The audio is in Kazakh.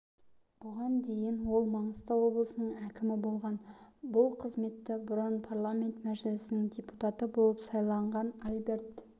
бұған дейін ол маңғыстау облысының әкімі болған бұл қызметті бұрын парламент мәжілісінің депутаты болып сайланған альберт